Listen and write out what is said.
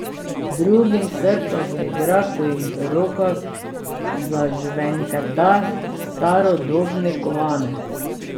Drugim srce zaigra, ko jim v rokah zažvenketa starodobni kovanec.